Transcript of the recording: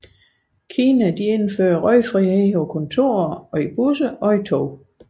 Kina indførte røgfrihed på kontorer og i busser og i tog